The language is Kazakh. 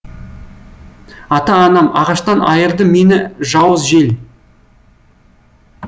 ата анам ағаштан айырды мені жауыз жел